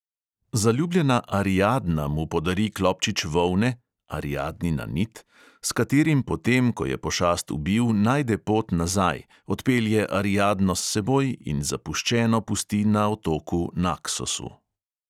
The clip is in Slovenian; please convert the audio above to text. Zaljubljena ariadna mu podari klobčič volne (ariadnina nit), s katerim potem, ko je pošast ubil, najde pot nazaj, odpelje ariadno s seboj in zapuščeno pusti na otoku naksosu.